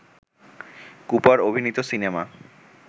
Cooper অভিনীত cinema